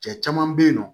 Cɛ caman bɛ yen nɔ